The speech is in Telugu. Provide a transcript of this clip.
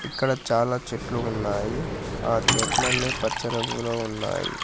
ఇక్కడ చాలా చెట్లు ఉన్నాయి ఆ చెట్లన్నీ పచ్చ రంగులో వున్నాయి.